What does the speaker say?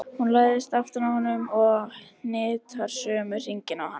Hún læðist aftan að honum og hnitar sömu hringina og hann.